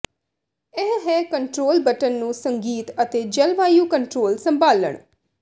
ਇਹ ਹੈ control button ਨੂੰ ਸੰਗੀਤ ਅਤੇ ਜਲਵਾਯੂ ਕੰਟਰੋਲ ਸੰਭਾਲਣ